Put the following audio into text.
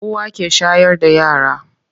Uwa ke shayar da yara.